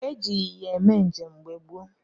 Eji ịnyịnya mee njem mgbe gboo.